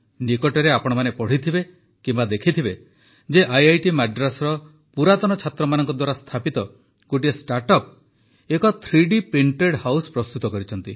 ନିକଟରେ ଆପଣମାନେ ପଢ଼ିଥିବେ କିମ୍ବା ଦେଖିଥିବେ ଯେ ଆଇଆଇଟି ମାଡ୍ରାସର ପୁରାତନ ଛାତ୍ରମାନଙ୍କ ଦ୍ୱାରା ସ୍ଥାପିତ ଗୋଟିଏ ଷ୍ଟାର୍ଟ ଅପ୍ ଏକ ଥ୍ରୀଡି ପ୍ରିଂଟେଡ୍ ହାଉସ ପ୍ରସ୍ତୁତ କରିଛନ୍ତି